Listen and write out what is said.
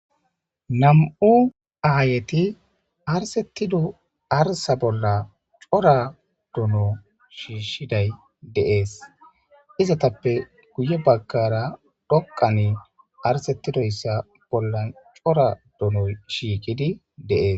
Nam'u ayet arsetida arsa bolla cora dono shishidaya de'es, izetappe guye bagara dhoqan arsetidoysa bolla cora dono shishidaya de'es.